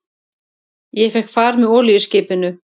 Ég fékk far með olíuskipinu